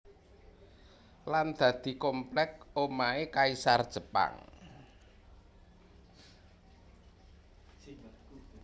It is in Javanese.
Lan dadi komplek omahe kaisar Jepang